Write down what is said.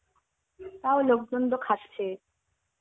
তাও লোকজন তো খাচ্ছে.